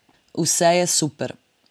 Vse je super.